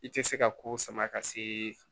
I tɛ se ka ko sama ka se